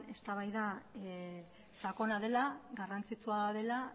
eztabaida sakona dela garrantzitsua dela